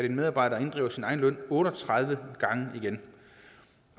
en medarbejder sin egen løn otte og tredive gange igen